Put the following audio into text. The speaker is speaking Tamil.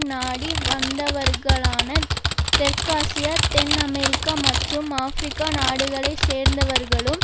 நாடி வந்தவர்களான தெற்காசியா தென் அமெரிக்கா மற்றும் ஆபிரிக்க நாடுகளை சேர்ந்தவர்களும்